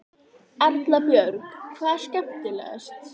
Erla Björg: Hvað er skemmtilegast?